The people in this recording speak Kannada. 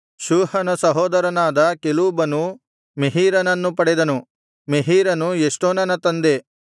ಶೂಹನ ಸಹೋದರನಾದ ಕೆಲೂಬನು ಮೆಹೀರನನ್ನು ಪಡೆದನು ಮೆಹೀರನು ಎಷ್ಟೋನನ ತಂದೆ